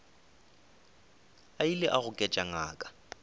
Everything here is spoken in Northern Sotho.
a ile a goketša ngaka